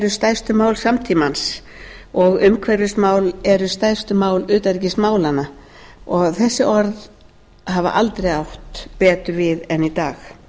stærstu mál samtímans og umhverfismál eru stærstu mál utanríkismálanna þessi orð hafa aldrei átt betur við en í dag